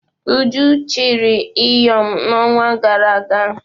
Uju chiri Ịyọm n'ọnwa gara aga.